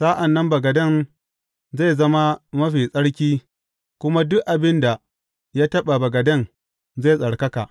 Sa’an nan bagaden zai zama mafi tsarki, kuma duk abin da ya taɓa bagaden zai tsarkaka.